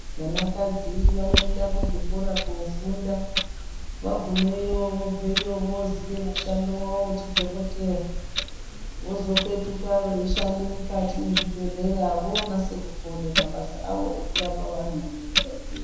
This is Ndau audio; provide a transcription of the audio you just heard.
Vanakadzi vanoenda kuzvikora koofunda, vagumeyo vobveyo vooziye mushando wawo wechidhokoteya vozopetuka veishande mukati mwezvibhedhleya voonase kukone mabasa awo ekurapa vantu ngekukasira.